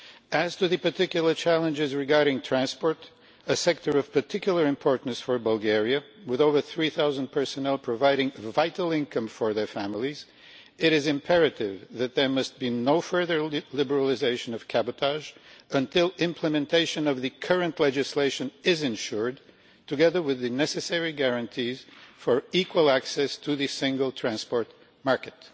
As to the particular challenges regarding transport a sector of particular importance for Bulgaria, with over three thousand personnel providing vital income for their families it is imperative that there must be no further liberalisation of cabotage until implementation of the current legislation is ensured, together with the necessary guarantees for equal access to the single transport market.